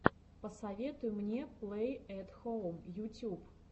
посоветуй мне плэй эт хоум ютюб